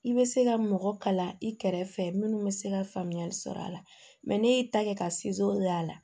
I bɛ se ka mɔgɔ kalan i kɛrɛfɛ minnu bɛ se ka faamuyali sɔrɔ a la mɛ ne y'i ta kɛ ka y'a la